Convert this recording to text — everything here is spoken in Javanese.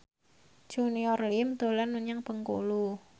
Junior Liem dolan menyang Bengkulu